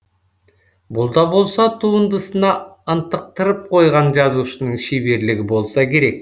бұл да болса туындысына ынтықтырып қойған жазушының шеберлігі болса керек